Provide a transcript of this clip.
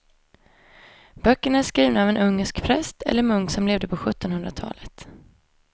Böckerna är skrivna av en ungersk präst eller munk som levde på sjuttonhundratalet.